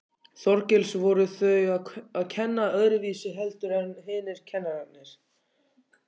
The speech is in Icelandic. Þorgils: Voru þau að kenna öðruvísi heldur en hinir kennararnir?